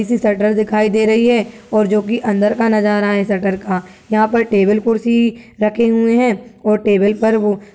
किसी शटर दिखाई दे रही है और जो की अंदर का नज़ारा है शटर का। यहाँ पर टेबल कुर्सी रखे हुए हैं और टेबल पर वो --